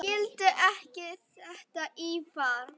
Skildi ekki þetta írafár.